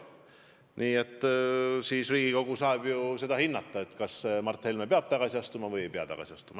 Nii et Riigikogu saab hinnata, kas Mart Helme peab tagasi astuma või ei pea tagasi astuma.